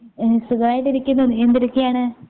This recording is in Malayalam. ഉം സുഖായിട്ടിരിക്കുന്നു നീ എന്തെടുക്കയാണ്?